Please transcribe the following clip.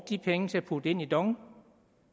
de penge til at putte ind i dong